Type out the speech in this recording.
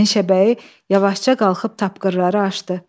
Meşəbəyi yavaşca qalxıb tapqırları açdı.